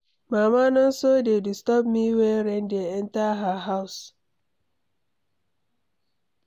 Mama Nonso dey disturb me wey rain dey enter her house